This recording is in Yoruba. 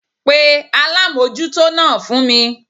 Pe alámójútó náà fún mi